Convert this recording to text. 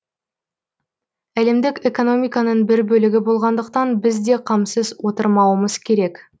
әлемдік экономиканың бір бөлігі болғандықтан біз де қамсыз отырмауымыз керек